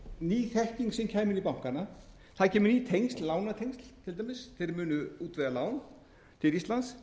ný þekking sem kæmi inn í bankana það kæmu ný tengsl lánatengsl til dæmis þeir munu útvega lán til íslands